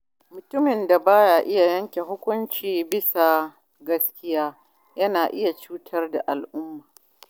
Mutumin da ba ya iya yanke hukunci bisa gaskiya yana iya cutar da al’umma.